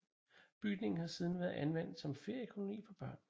Bygningen har siden været anvendt som feriekoloni for børn